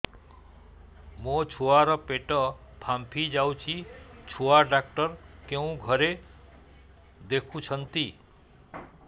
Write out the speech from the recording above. ମୋ ଛୁଆ ର ପେଟ ଫାମ୍ପି ଯାଉଛି ଛୁଆ ଡକ୍ଟର କେଉଁ ଘରେ ଦେଖୁ ଛନ୍ତି